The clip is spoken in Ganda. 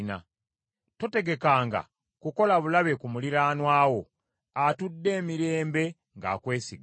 Totegekanga kukola bulabe ku muliraanwa wo, atudde emirembe ng’akwesiga.